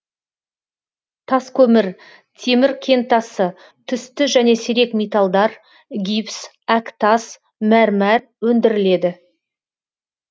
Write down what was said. тас көмір темір кентасы түсті және сирек металдар гипс әктас мәрмәр өндіріледі